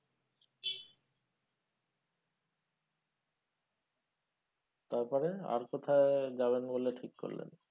তারপরে আর কোথায় যাবেন বলে ঠিক করলেন?